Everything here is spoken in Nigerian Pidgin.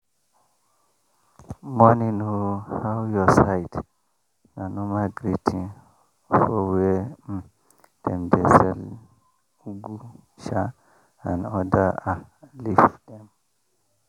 morning o how your side?” na normal greeting for where um dem dey sell ugu um and other um leaf dem